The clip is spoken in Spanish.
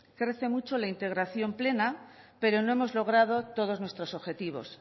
crece mucho la integración plena pero no hemos logrado todos nuestros objetivos